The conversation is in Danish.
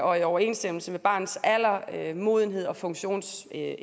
og i overensstemmelse med barnets alder modenhed og funktionsevne